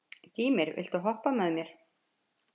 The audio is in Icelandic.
Gýmir, viltu hoppa með mér?